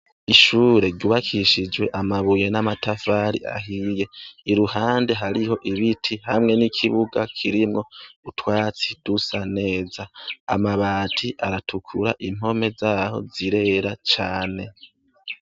Ishure ryubakishije amabuye n'amatafari ahiye, iruhande hariho ibiti hamwe n'ikibuga kirimwo utwatsi dusa neza, amabati aratukura impome zaho zirera cane.